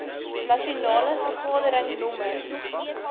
nasionale vergadering nr